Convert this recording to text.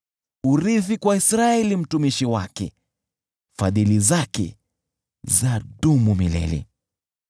Urithi kwa Israeli mtumishi wake, Fadhili zake zadumu milele .